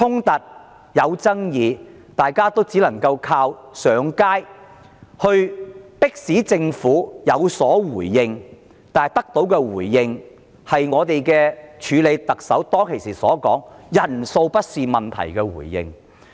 大家只能靠上街遊行迫使政府回應，而我們得到的是署任特首說人數多寡不是重點的回應。